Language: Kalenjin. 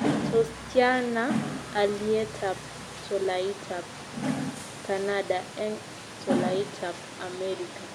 Tos' tyana alyetap tolaitap kanada eng' tolaitap amerika